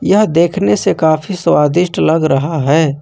यह देखने से काफी स्वादिष्ट लग रहा है।